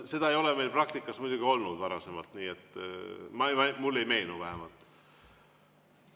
Seda ei ole meil praktikas muidugi varem olnud, mulle ei meenu vähemalt.